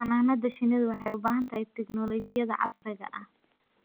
Xannaanada shinnidu waxay u baahan tahay tignoolajiyada casriga ah.